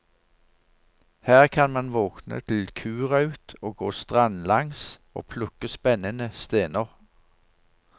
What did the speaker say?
Her kan man våkne til kuraut og gå strandlangs og plukke spennende stener.